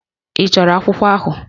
Ị chọrọ akwụkwọ ahụ?